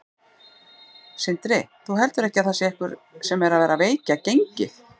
Sindri: Þú heldur ekki að það sé einhver sem er að veikja gengið?